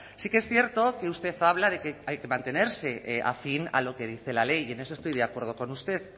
sí que es cierto que usted habla de que hay que mantenerse afín a lo que dice la ley y en eso estoy de acuerdo con usted